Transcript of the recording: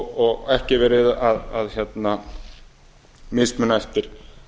og ekki verið að mismuna eftir